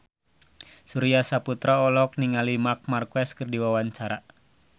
Surya Saputra olohok ningali Marc Marquez keur diwawancara